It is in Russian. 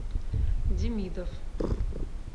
демидов